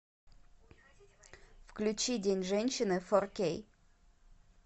включи день женщины фор кей